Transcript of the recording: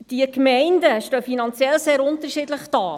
Die Gemeinden stehen finanziell sehr unterschiedlich da.